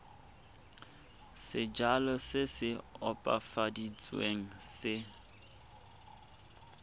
sejalo se se opafaditsweng se